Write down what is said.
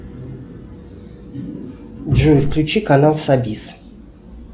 джой включи канал сабис